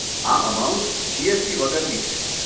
આ amount GST વગરની છે.